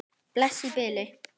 Bless í bili!